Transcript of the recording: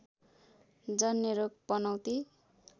जन्य रोग पनौती